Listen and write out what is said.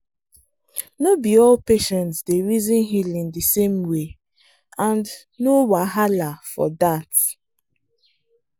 no be all patients dey reason healing the same way and no wahala for that.